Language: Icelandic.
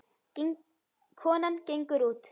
Konan gengur út.